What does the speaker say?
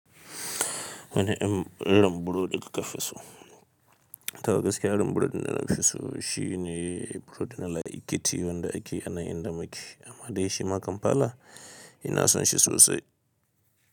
Wani irin burodi ka kafiso. Toh gaskiya irin burodi na nafi so shine burodi na laikiti wanda ake anan inda muke amma dai shi ma kam fala ina son shi sosai.